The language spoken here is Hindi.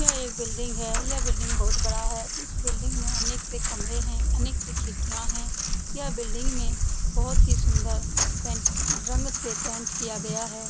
यह एक बिल्डिंग है यह बिल्डिंग बहुत बड़ा है इस बिल्डिंग में अनेक से कमरे हैं अनेक सी खिडकियाँ है यह बिल्डिंग में बहुत ही सुन्दर रंग से पेंट किआ गया है ।